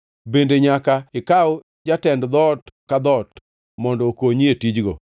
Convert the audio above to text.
Bende nyaka ikaw jatend dhoot ka dhoot mondo okonyi e tijno.